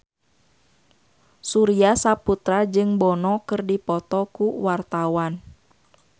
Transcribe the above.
Surya Saputra jeung Bono keur dipoto ku wartawan